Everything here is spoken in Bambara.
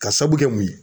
Ka sabu kɛ mun ye